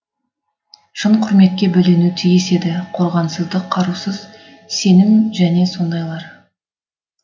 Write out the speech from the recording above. шын құрметке бөленуі тиіс еді қорғансыздық қарусыз сенім және сондайлар